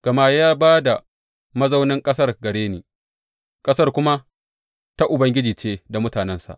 Gama ya ba da mazaunan ƙasar gare ni, ƙasar kuma ta Ubangiji ce da mutanensa.